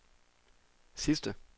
sidste